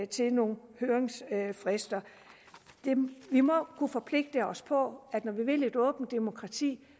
til nogle høringsfrister vi må kunne forpligte os på at når vi vil et åbent demokrati